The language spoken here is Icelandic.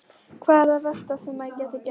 Hvað er það versta sem gæti gerst?